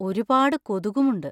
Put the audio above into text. ഒരുപാട് കൊതുകും ഉണ്ട്.